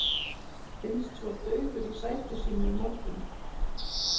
Finnst svo dauður í sæti sínu um morguninn.